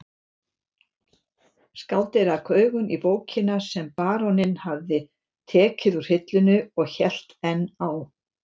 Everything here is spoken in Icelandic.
Skáldið rak augun í bókina sem baróninn hafði tekið úr hillunni og hélt enn á